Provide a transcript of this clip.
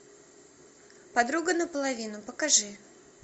подруга наполовину покажи